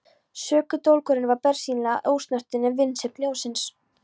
Sökudólgurinn var bersýnilega ósnortinn af vinsemd ljónsins.